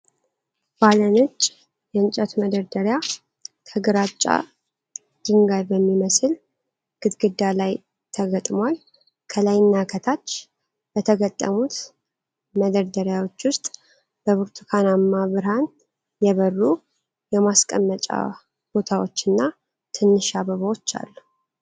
ባለ ነጭ የእንጨት መደርደሪያ ከግራጫ ድንጋይ በሚመስል ግድግዳ ላይ ተገጥሟል። ከላይና ከታች በተገጠሙት መደርደሪያዎች ውስጥ በብርቱካናማ ብርሃን የበሩ የማስቀመጫ ቦታዎችና ትንሽ አበባዎች አሉ።